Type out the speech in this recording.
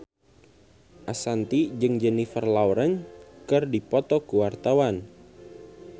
Ashanti jeung Jennifer Lawrence keur dipoto ku wartawan